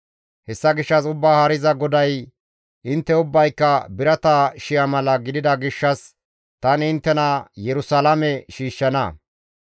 Hessa gishshas Ubbaa Haariza GODAY, ‹Intte ubbayka birata shi7a mala gidida gishshas tani inttena Yerusalaame shiishshana.